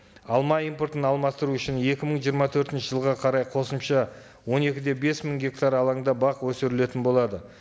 алма импортын алмастыру үшін екі мың жиырма төртінші жылға қарай қосымша он екі де бес мың гектар алаңында бақ өсірілетін болады